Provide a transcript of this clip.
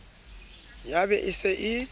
ya be e se e